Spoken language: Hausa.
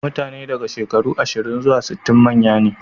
Mutane daga shekaru ashirin zuwa sittin manya ne.